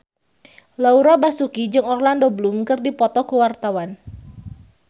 Laura Basuki jeung Orlando Bloom keur dipoto ku wartawan